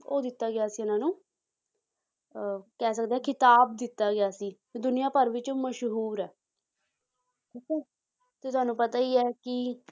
ਉਹ ਦਿੱਤਾ ਗਿਆ ਸੀ ਇਹਨਾਂ ਨੂੰ ਅਹ ਕਹਿ ਸਕਦੇ ਹਾਂ ਖਿਤਾਬ ਦਿੱਤਾ ਗਿਆ ਸੀ ਤੇ ਦੁਨੀਆਂ ਭਰ ਵਿੱਚ ਮਸ਼ਹੂਰ ਹੈ ਠੀਕ ਹੈ ਤੇ ਤੁਹਾਨੂੰ ਪਤਾ ਹੀ ਹੈ ਕਿ